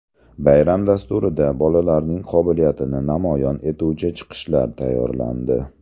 Bayram dasturida bolalarning qobiliyatini namoyon etuvchi chiqishlar tayyorlandi.